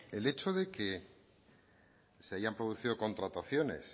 el hecho de que se hayan producido contrataciones